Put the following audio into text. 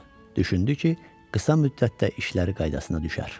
Düşündü ki, qısa müddətdə işlər qaydasına düşər.